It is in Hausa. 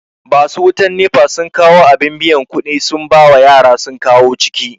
Basu wutan NEPA sun kawu abin biyan kuɗi sun bawa yara sun kawo ciki